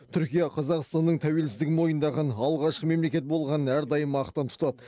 түркия қазақстанның тәуелсіздігін мойындаған алғашқы мемлекет болғанын әрдайым мақтан тұтады